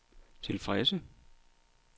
tilfredse